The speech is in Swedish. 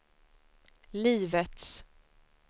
livets